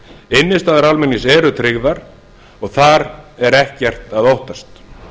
innistæður almennings eru tryggðar og þar er ekkert að óttast